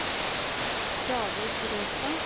David Røstad